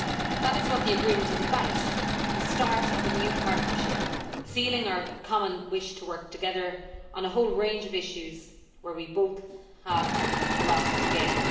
That is what the agreement is about the start of a new partnership, sealing our common wish to work together on a whole range of issues where we both have a lot to gain.